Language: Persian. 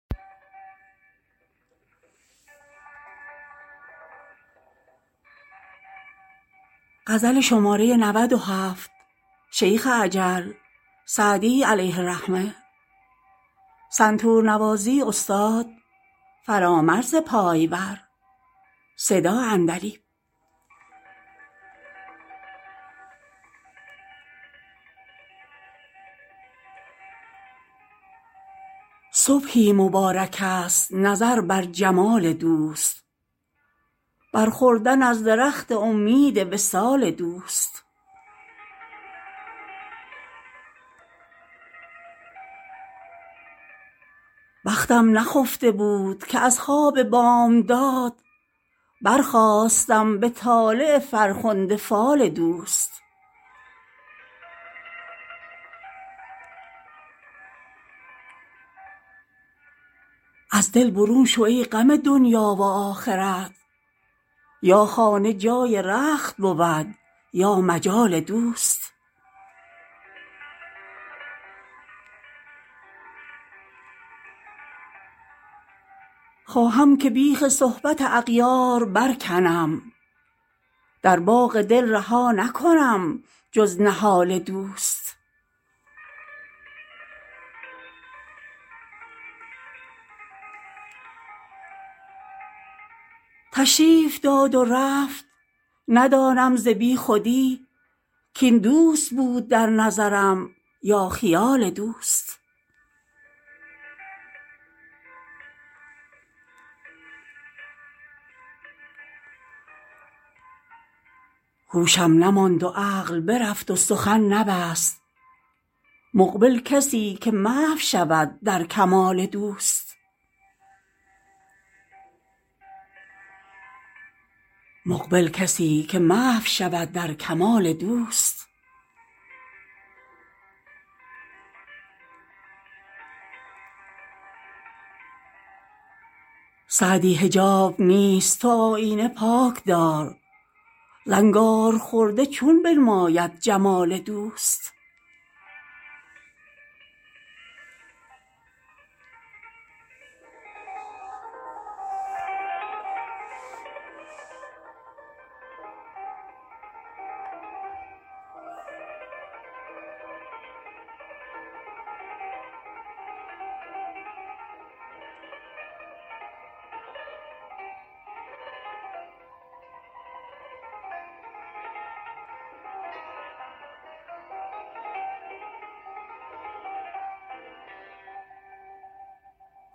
صبحی مبارکست نظر بر جمال دوست بر خوردن از درخت امید وصال دوست بختم نخفته بود که از خواب بامداد برخاستم به طالع فرخنده فال دوست از دل برون شو ای غم دنیا و آخرت یا خانه جای رخت بود یا مجال دوست خواهم که بیخ صحبت اغیار برکنم در باغ دل رها نکنم جز نهال دوست تشریف داد و رفت ندانم ز بیخودی کاین دوست بود در نظرم یا خیال دوست هوشم نماند و عقل برفت و سخن نبست مقبل کسی که محو شود در کمال دوست سعدی حجاب نیست تو آیینه پاک دار زنگارخورده چون بنماید جمال دوست